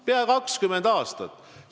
Pea 20 aastat!